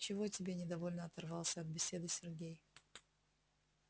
чего тебе недовольно оторвался от беседы сергей